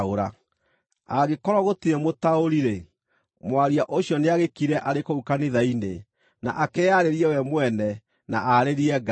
Angĩkorwo gũtirĩ mũtaũri-rĩ, mwaria ũcio nĩagĩkire arĩ kũu kanitha-inĩ, na akĩĩarĩrie we mwene, na aarĩrie Ngai.